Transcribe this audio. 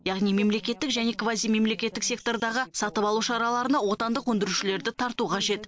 яғни мемлекеттік және квазимемлекеттік сектордағы сатып алу шараларына отандық өндірушілерді тарту қажет